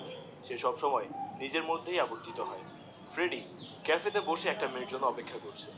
সে সব সময় এ নিজের মধ্যেই আবর্জিত হয়, ফ্রেডি ক্যাফে তে বসে একটা মেয়ের জন্যে অপেক্ষা করছে।